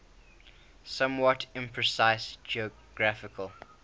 somewhat imprecise geographical